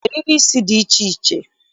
Eriri isi dị iche iche